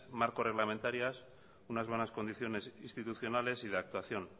marco reglamentarias unas buenas condiciones institucionales y de actuación